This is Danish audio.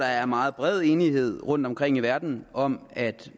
er meget bred enighed rundtomkring i verden om at